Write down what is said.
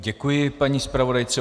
Děkuji paní zpravodajce.